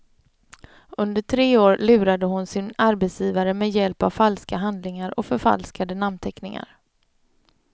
Under tre år lurade hon sin arbetsgivare med hjälp av falska handlingar och förfalskade namnteckningar.